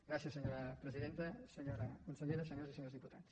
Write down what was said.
gràcies senyora presidenta senyora consellera senyores i senyors diputats